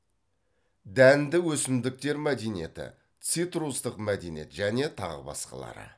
дәнді өсімдіктер мәдениеті цитрустық мәдениет және тағы басқалары